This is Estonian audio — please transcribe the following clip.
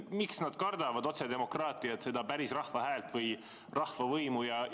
Miks nad kardavad otsedemokraatiat, seda päris rahva häält või rahvavõimu?